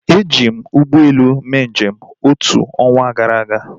Eji m ụgbọelu mee njem otu ọnwa gara aga